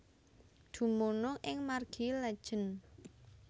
Dumunung ing Margi Letjen